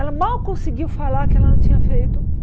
Ela mal conseguiu falar que ela não tinha feito